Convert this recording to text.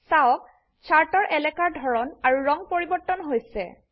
চাওক চাৰ্টৰ এলাকাৰ ধৰন আৰু ৰং পৰিবৰ্তন হৈ গৈছে